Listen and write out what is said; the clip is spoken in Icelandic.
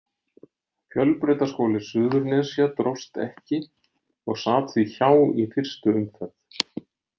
Fjölbrautaskóli Suðurnesja dróst ekki og sat því hjá í fyrstu umferð.